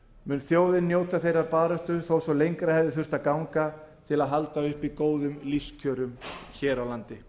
mun þjóðin njóta þeirrar baráttu þó svo lengra hefði þurft að ganga til að halda uppi góðum lífskjörum hér á landi